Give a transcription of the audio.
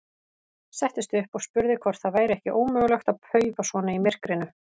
Settist upp og spurði hvort það væri ekki ómögulegt að paufa svona í myrkrinu.